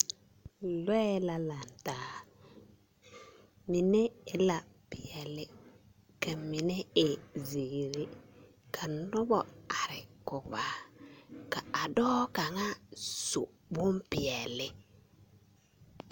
Lɔɛ la lantaa, mine e la peɛle, ka mine e zeere. Ka noba are kɔge a. ka a dɔɔ kaŋa su bompeɛle.